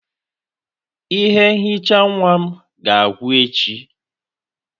Ihe nhicha nwa m ga-agwụ echi.